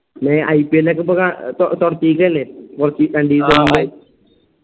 ന്നെ IPL ഇപ്പൊ